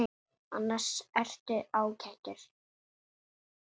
Annars ertu ágætur.